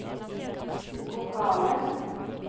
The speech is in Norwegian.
vokale